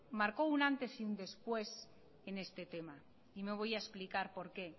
marcó un antes y un después en este tema y me voy a explicar por qué